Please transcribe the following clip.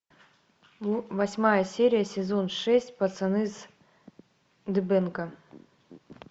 восьмая серия сезон шесть пацаны с дыбенко